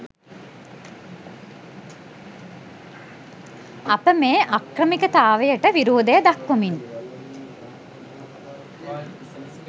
අප මේ අක්‍රමිකතාවයට විරෝධය දක්‌වමින්